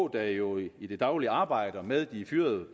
der jo i det daglige arbejder med de fyrede